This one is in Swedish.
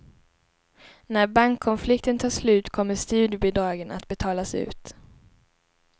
När bankkonflikten tar slut kommer studiebidragen att betalas ut.